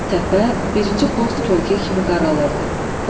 Təpə birinci post kölgə kimi qaralırdı.